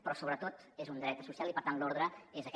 però sobretot és un dret social i per tant l’ordre és aquest